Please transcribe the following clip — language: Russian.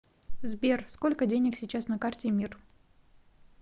сбер сколько денег сейчас на карте мир